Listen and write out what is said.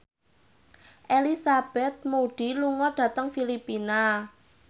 Elizabeth Moody lunga dhateng Filipina